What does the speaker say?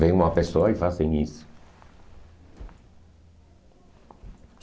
Veem uma pessoa e fazem isso.